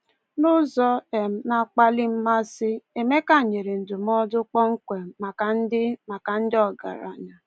N'ụzọ um na-akpali mmasị, Emeka nyere ndụmọdụ kpọmkwem maka ndị maka ndị ọgaranya.